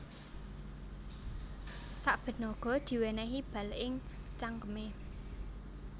Saben naga diwènèhi bal ing cangkemé